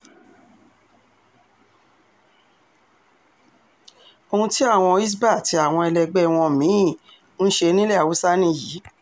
ohun tí àwọn hisbah àti àwọn ẹlẹgbẹ́ wọn mí-ín ń ṣe nílẹ̀ haúsá nìyí